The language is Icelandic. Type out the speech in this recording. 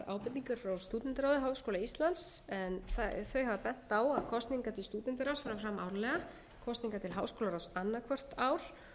ábendingar frá stúdentaráði háskóla íslands en þau hafa bent á að kosningar til stúdentaráðs fari fram árlega kosningar til háskólaráðs annað hvort ár